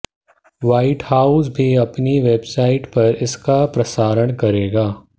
white House भी अपनी website पर इसका प्रसारण करेगा